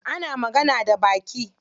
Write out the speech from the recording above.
Ana magana da baki.